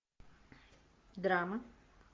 драма